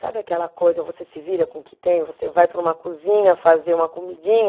Sabe aquela coisa, você se vira com o que tem, você vai para uma cozinha fazer uma comidinha,